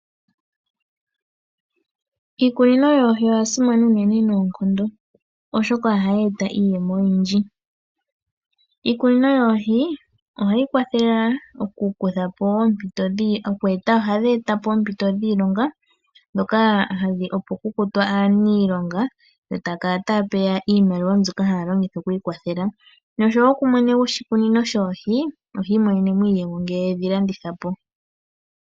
Iikunino yoohi oya simana uunene noonkondo. Oshoka ohayi eta iiyemo oyindji. Iikunino yoohi, ohayi kwathele aantu oku eta, ohadhi eta po oompito dhiilonga, dhoka hadhi opo ku kutwe aaniilonga yo taya kala taya peya, iimaliwa mbyoka haya longitha okwii kwathela. Oshowo kumwe goshikunino shoohi, ohi imonene mo iiyemo ngele edhi landithapo